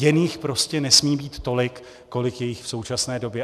Jen jich prostě nesmí být tolik, kolik je jich v současné době.